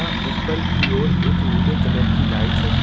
तथा ऊपर की ओर एक नीले कलर की लाईट लगी--